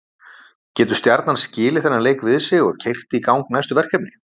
Getur Stjarnan skilið þennan leik við sig og keyrt í gang næstu verkefni?